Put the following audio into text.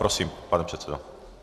Prosím, pane předsedo.